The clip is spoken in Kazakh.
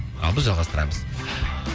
ал біз жалғастырамыз